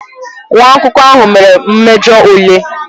Nwa akwụkwọ ahụ mere mmejọ ule